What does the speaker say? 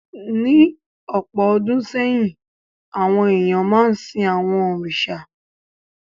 Ní ọ̀pọ̀ ọdún sẹ́yìn, àwọn èèyàn máa ń sìn àwọn òrìṣà.